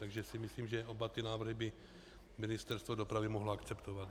Takže si myslím, že oba ty návrhy by Ministerstvo dopravy mohlo akceptovat.